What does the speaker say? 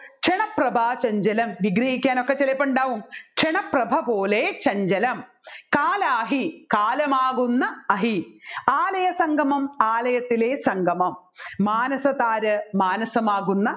ക്ഷണപ്രഭാ ചഞ്ചലം വിഗ്രഹിക്കാനൊക്കെ ചിലപ്പോൾ ഉണ്ടാവും ക്ഷണപ്രഭ പോലെ ചഞ്ചലം കാലാഹി കാലമാകുന്ന അഹി ആലയസംഗമം ആയലയത്തിലെ സംഗമം മാനസത്താര് മാനസമാകുന്ന